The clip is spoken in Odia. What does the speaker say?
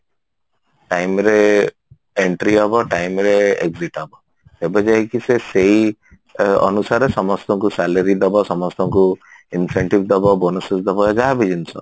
time ରେ entry ହବ time ରେ exit ହବ ସେବେ ଯାଇକି ସେ ସେଇ ଅ ଅନୁସାରେ ସମସ୍ତଙ୍କୁ salary ଦବ ସମସ୍ତଙ୍କୁ incentive ଦବ bonus ବି ଦବ ଯାହା ବି ଜିନିଷ